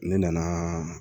Ne nanaaa